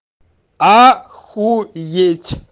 охуеть